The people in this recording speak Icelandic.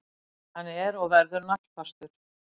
Hann er og verður naglfastur.